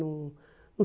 não não